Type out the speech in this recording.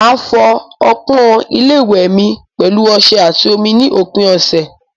Màá fọ ọpọ́n ilé ìwẹ̀ mi pẹ̀lú ọṣẹ àti omi ní òpin ọ̀sẹ̀.